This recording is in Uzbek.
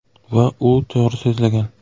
Va u to‘g‘ri so‘zlagan.